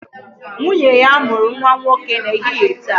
Nwunye ya mụrụ nwa nwoke n'ehihie taa